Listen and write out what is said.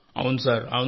అవును సార్ అవును సార్